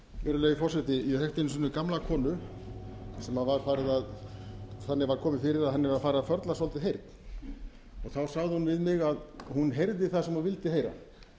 virðulegi forseti ég þekkti einu sinni gamla konu sem þannig var komið fyrir að henni var farið að förlast svolítið heyrn og þá sagði hún við mig að hún heyrði það sem hún vildi heyra